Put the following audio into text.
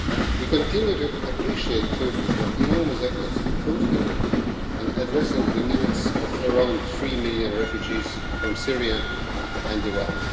We continue to appreciate Turkey for its enormous efforts in hosting and addressing the needs of around 3 million refugees from Syria and Iraq.